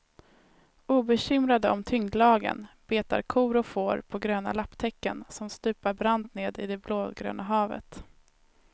Obekymrade om tyngdlagen betar kor och får på gröna lapptäcken, som stupar brant ner i det blågröna havet.